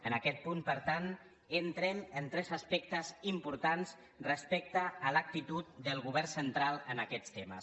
en aquest punt per tant entrem en tres aspectes importants respecte a l’actitud del govern central en aquests temes